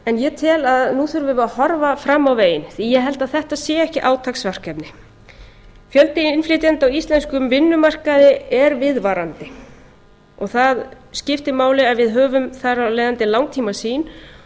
en ég tel að nú þurfum við að horfa fram á veginn því að ég held að þetta sé ekki átaksverkefni fjöldi innflytjenda á íslenskum vinnumarkaði er viðvarandi og það skiptir máli að við höfum þar af leiðandi langtímasýn